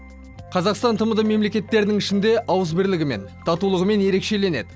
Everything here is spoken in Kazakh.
қазақстан тмд мемлекеттерінің ішінде ауызбірлігімен татулығымен ерекшеленеді